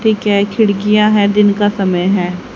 ठीक है खिड़कियां है दिन का समय है।